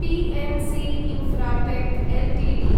PNC Infratech Ltd